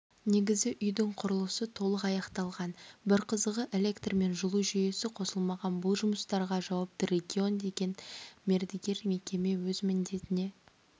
негізі үйдің құрылысы толық аяқталған бір қызығы электр мен жылу жүйесі қосылмаған бұл жұмыстарға жауапты регион деген мердігер мекеме өз міндетіне